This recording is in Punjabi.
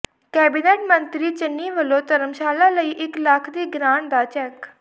ਕੈਬਨਿਟ ਮੰਤਰੀ ਚੰਨੀ ਵਲੋਂ ਧਰਮਸ਼ਾਲਾ ਲਈ ਇਕ ਲੱਖ ਦੀ ਗ੍ਰਾਂਟ ਦਾ ਚੈੱਕ